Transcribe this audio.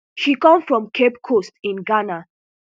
she come from cape coast in ghana